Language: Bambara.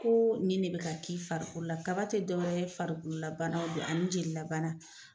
Ko ni ne bi ka kɛ i farikolo la, kaba tɛ dɔwɛrɛ ye farikolola banaw don ani jelilabana.